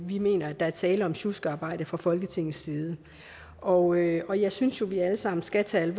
vi mener at der er tale om sjuskearbejde fra folketingets side og jeg og jeg synes jo at vi alle sammen skal tage